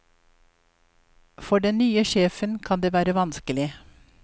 For den nye sjefen kan det være vanskelig.